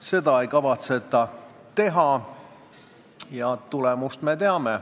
Seda ei kavatseta teha ja tulemust me teame.